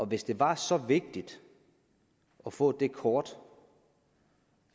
hvis det var så vigtigt at få det kort